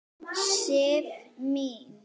Sif mín!